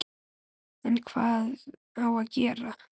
En hvað á að gera?